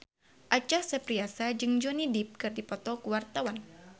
Acha Septriasa jeung Johnny Depp keur dipoto ku wartawan